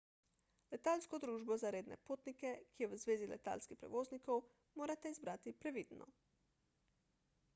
letalsko družbo za redne potnike ki je v zvezi letalskih prevoznikov morate izbrati previdno